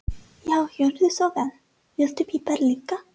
Já, gjörðu svo vel. Viltu pipar líka?